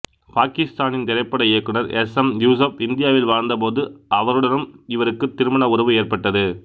பாக்கித்தானிய திரைப்பட இயக்குநர் S M Yusuf இந்தியாவில் வாழ்ந்தபோது அவருடனும் இவருக்கு திருமண உறவு ஏற்பட்டது